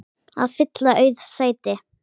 að fylla auð sæti.